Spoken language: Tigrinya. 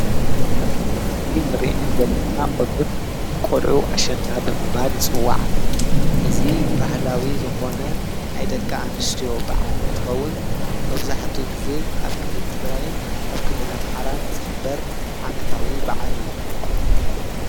አብዚ ምስሊ ንሪአን ዘለና ቆልዑት ቆልዑ አሸንዳ ብምባል ይፅወዓ። እዚ ባህላዊ ዝኮነ ናይ ደቁ አንስትዮ በዓል እንትኸውን መብዛሕትኡ ግዘ አብ ክልል ትግራይን አብ ክልል አምሓራን ዝክበር ዓመታዊ በዓል እዩ።